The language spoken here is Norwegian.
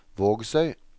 Vågsøy